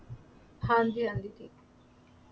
ਹਾਂਜੀ ਹਾਂਜੀ ਜੀ